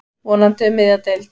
Vonandi um miðja deild.